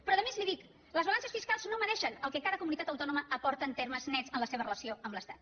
però a més li dic les balances fiscals no mesuren el que cada comunitat autònoma aporta en termes nets en la seva relació amb l’estat